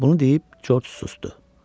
Bunu deyib George sustu.